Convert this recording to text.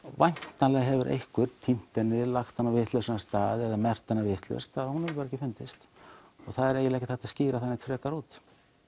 væntanlega hefur einhver týnt henni lagt hana á vitlausan stað eða merkt hana vitlaust hún hefur bara ekki fundist og það er eiginlega ekki hægt að skýra það frekar út